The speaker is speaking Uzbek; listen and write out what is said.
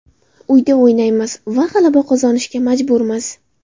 Uyda o‘ynaymiz va g‘alaba qozonishga majburmiz.